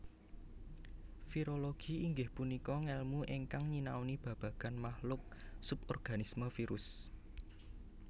Virologi inggih punika ngèlmu ingkang nyinauni babagan makhluk suborganisme virus